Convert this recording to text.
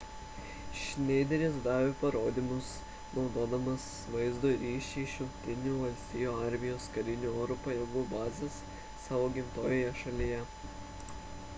schneideris davė parodymus naudodamas vaizdo ryšį iš jungtinių valstijų armijos karinių oro pajėgų bazės savo gimtojoje šalyje